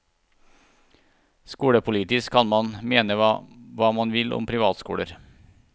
Skolepolitisk kan man mene hva man vil om privatskoler.